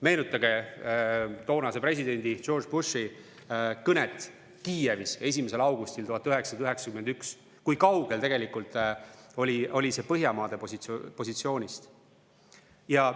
Meenutage toonase presidendi George Bushi kõnet Kiievis 1. augustil 1991, kui kaugel tegelikult oli see Põhjamaade positsioonist.